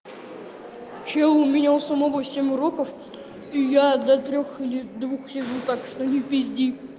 что у меня у самого семь уроков и я до трёх или двух сижу так что не пизди